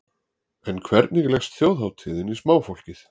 En hvernig leggst þjóðhátíðin í smáfólkið?